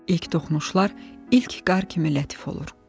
İlk toxunuşlar ilk qar kimi lətif olur.